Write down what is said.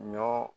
Ɲɔ